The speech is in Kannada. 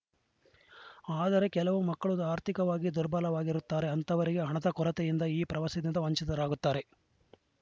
ಆದರೆ ಕೆಲವು ಮಕ್ಕಳು ಆರ್ಥಿಕವಾಗಿ ದುರ್ಬಲರಾಗಿರುತ್ತಾರೆ ಅಂತಹವರಿಗೆ ಹಣದ ಕೊರತೆಯಿಂದ ಈ ಪ್ರವಾಸದಿಂದ ವಂಚಿತರಾಗುತ್ತಾರೆ